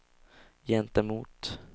gentemot